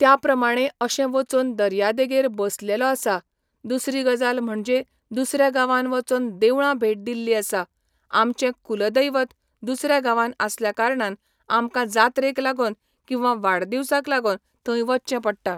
त्या प्रमाणे अशें वचोन दर्या देगेर बसलेलो आसा दुसरी गजाल म्हणजे दुसऱ्या गांवान वचोन देवळां भेट दिल्ली आसा आमचे कुलदैवत दुसऱ्या गांवान आसल्या कारणान आमकां जात्रेक लागोन किंवा वाडदिवसाक लागोन थंय वयचें पडटा.